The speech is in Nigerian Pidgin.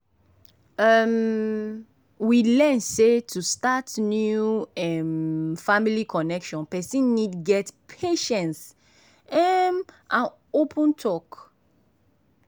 um we learn sey to start new um family connection person need get patience um and open talk.